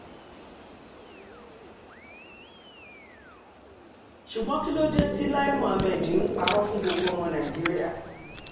ṣùgbọ́n kí ló dé tí lai muhammed ń parọ́ fún gbogbo ọmọ nàìjíríà